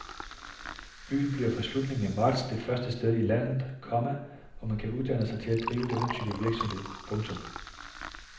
Byen bliver fra slutningen af marts det første sted i landet, komma hvor man kan uddanne sig til at drive denne type virksomhed. punktum